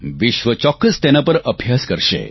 વિશ્વ ચોક્કસ તેના પર અભ્યાસ કરશે